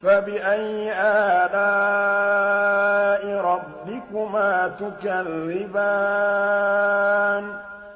فَبِأَيِّ آلَاءِ رَبِّكُمَا تُكَذِّبَانِ